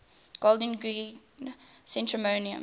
golders green crematorium